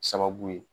Sababu ye